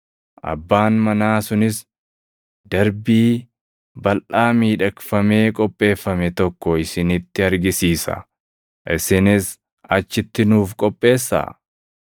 Abbaan manaa sunis darbii balʼaa miidhagfamee qopheeffame tokko isinitti argisiisa. Isinis achitti nuuf qopheessaa.”